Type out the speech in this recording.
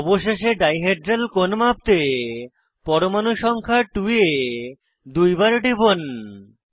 অবশেষে dihedral কোণ মাপতে পরমাণু সংখ্যা 2 এ দুইবার টিপুন